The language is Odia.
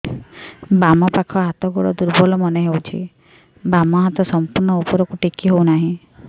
ବାମ ପାଖ ହାତ ଗୋଡ ଦୁର୍ବଳ ମନେ ହଉଛି ବାମ ହାତ ସମ୍ପୂର୍ଣ ଉପରକୁ ଟେକି ହଉ ନାହିଁ